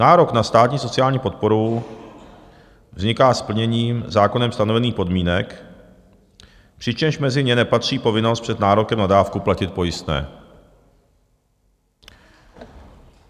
Nárok na státní sociální podporu vzniká splněním zákonem stanovených podmínek, přičemž mezi ně nepatří povinnost před nárokem na dávku platit pojistné.